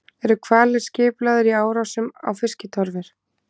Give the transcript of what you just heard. Eru hvalir skipulagðir í árásum á fiskitorfur?